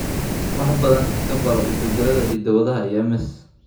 Wax badan ka baro isbeddellada hidda-wadaha iyo MS.